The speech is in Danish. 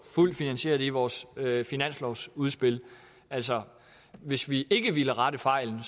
fuld finansiering i vores finanslovsudspil altså hvis vi ikke ville rette fejlen